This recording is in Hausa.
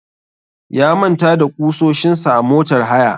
Ya manta da ƙusoshin sa a motar haya.